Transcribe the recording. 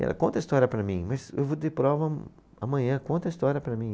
Ela conta a história para mim, mas eu vou ter prova a, amanhã, conta a história para mim.